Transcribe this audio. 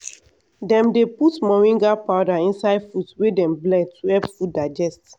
dem dey put moringa powder inside fruit wey dem blend to help food digest.